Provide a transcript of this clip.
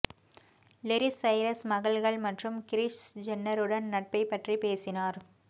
லெரிஸ் Cyrus மகள்கள் மற்றும் Chris ஜென்னருடன் நட்பைப் பற்றி பேசினார்